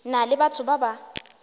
na le batho ba ba